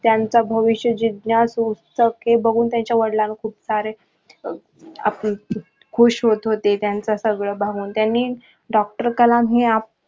त्याचं भविष्य जिज्ञासू हे बघून त्यांचा वडिलांना खूप सारे खुश होत होते त्याचं सगळ सर्व बघून त्यांनी doctor कलाम हे